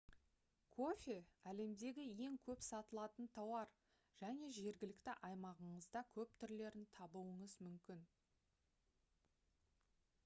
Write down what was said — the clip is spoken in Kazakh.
кофе әлемдегі ең көп сатылатын тауар және жергілікті аймағыңызда көп түрлерін табуыңыз мүмкін